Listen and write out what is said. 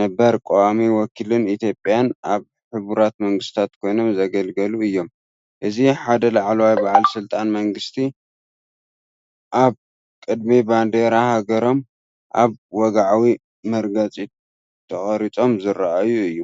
ነበርን ቀዋሚ ወኪል ኢትዮጵያን ኣብ ሕቡራት መንግስታት ኮይኖም ዘገልገሉ እዮም። እዚ ሓደ ላዕለዋይ በዓል ስልጣን መንግስቲ፡ኣብ ቅድሚ ባንዴራ ሃገሮም ኣብ ወግዓዊ መርገጺ ተቐሪጾም ዝራኣይ እዩ።